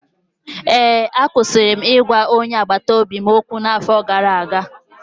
Ee, akwụsịrị m ịgwa onye agbata obi m okwu n’afọ gara aga